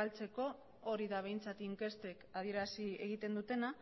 galtzeko hori da behintzat inkestek adierazi egiten dutena